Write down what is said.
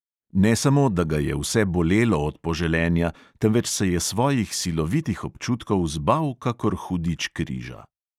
Ne samo da ga je vse bolelo od poželenja, temveč se je svojih silovitih občutkov zbal kakor hudič križa.